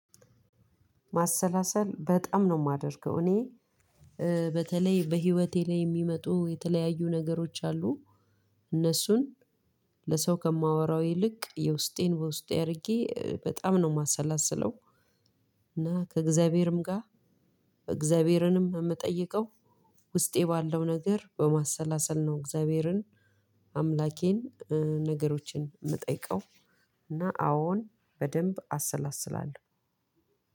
ማሰላሰል በጣም ነው የማደርገው። እኔ በተለይ በህይወቴ ላይ የሚመጡ የተለያዩ ነገሮች አሉ። እነሱን ለሰው ከማወራው ይልቅ የውስጤን በውስጤ አድርጌ በጣም ነው የማሰላስለው። እና ከእግዛአቢሄርም እግዛብሄርንም የምጠይቀው ውስጠይ ባለው ነገር በመሳላሰል ነው። እግዛአቢሄርን አምላኬንነገሮችን የምጠይቀው እና አዎን በደንብ አሰላስላለሁ።